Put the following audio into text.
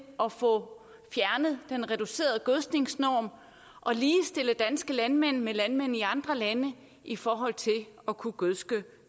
at få fjernet den reducerede gødskningsnorm og ligestille danske landmænd med landmænd i andre lande i forhold til at kunne gødske